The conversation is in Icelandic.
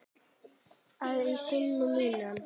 að í syni mínum